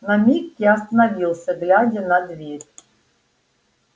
на миг я остановился глядя на дверь